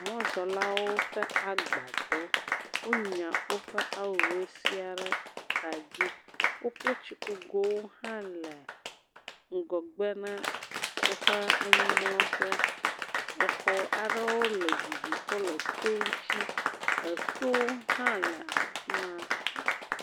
Mɔzɔlawo ƒe agbadɔ, wonya woƒe awuwo sia ɖe ka dzi, woƒe tsikugowo hã le ŋgɔgbe na woƒe anyimlɔƒea, exe aɖewo le didi ƒe le to ŋuti, etowo hã le afi ma.